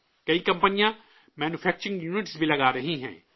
کئی کمپنیاں manufacturing unit بھی لگا رہی ہیں